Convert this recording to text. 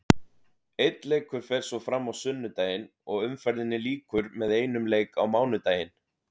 Einn leikur fer svo fram á sunnudaginn og umferðinni lýkur með einum leik á mánudaginn.